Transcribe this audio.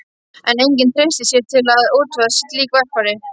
En enginn treysti sér til að útvega slík verkfæri.